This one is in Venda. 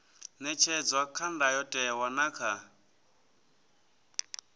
ṅetshedzwa kha ndayotewa na kha